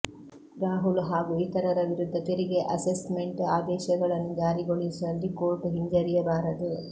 ರಾಹುಲ್ ಹಾಗೂ ಇತರರ ವಿರುದ್ಧ ತೆರಿಗೆ ಅಸೆಸ್ಮೆಂಟ್ ಆದೇಶಗಳನ್ನು ಜಾರಿಗೊಳಿಸುವಲ್ಲಿ ಕೋರ್ಟ್ ಹಿಂಜರಿಯಬಾರದು